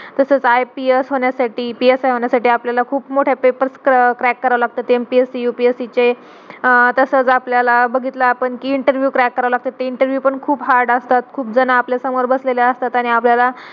तसच IPS होण्यासाठी PSI होण्यासाठी आपल्याला खूप मोठ्या papers crack करावे लागतात MPSC, UPSC चे तसाच आपल्याला बघितला आपण interview crack करावे लागतात interview पण खूप hard असतात खूप जाणा आपल्या समोर बसलेले असतात आणि आपल्याला.